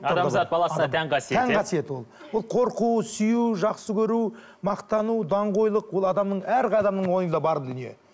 адам зат баласына тән қасиет тән қасиет ол ол қорқу сүю жақсы көру мақтану даңғойлық ол адамның әр адамның ойында бар дүние